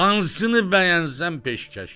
Hansını bəyənsən peşkəşdir.